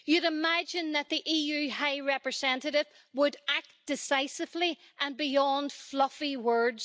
You would imagine that the EU High Representative would act decisively and go beyond fluffy words.